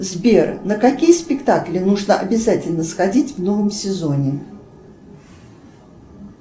сбер на какие спектакли нужно обязательно сходить в новом сезоне